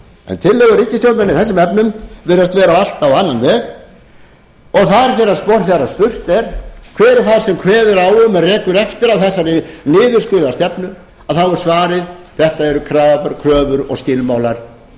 en tillögur ríkisstjórnarinnar í þessum efnum virðast vera allar á annan veg og þegar spurt er hver er það sem kveður á um eða rekur eftir að þessari niðurskurðarstefnu þá er svarið þetta eru kröfur og skilmálar